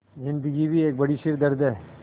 ज़िन्दगी भी एक बड़ा सिरदर्द है